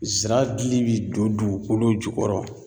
Zira dili bi don dugukolo jukɔrɔ